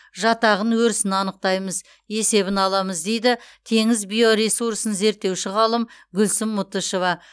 жатағын өрісін анықтаймыз есебін аламыз дейді теңіз биоресурсын зерттеуші ғалым гүлсім мұтышева